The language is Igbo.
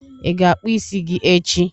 Ị ga-akpụ isi gi echi?